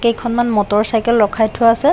কেইখনমান motor cycle ৰখাই থোৱা আছে।